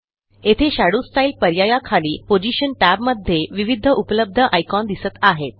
येथे shadow style पर्यायाखाली position टॅबमध्ये विविध उपलब्ध आयकॉन दिसत आहेत